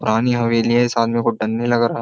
पुरानी हवेली है इस आदमी को डर नई लग रहा।